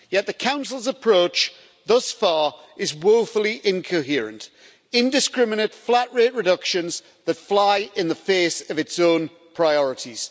Yet the Council's approach thus far is woefully incoherent indiscriminate flat rate reductions that fly in the face of its own priorities.